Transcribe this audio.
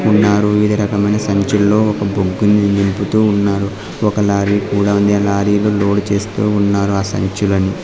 ఉన్నారు వివిధ రకమైన సంచుల్లో ఒక బొగ్గుని నింపుతూ ఉన్నారు. ఒక లారీ కూడా ఉంది ఆ లారీలో లోడు చేస్తూ ఉన్నారు ఆ సంచులను.